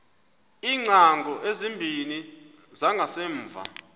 iingcango ezimbini zangasemva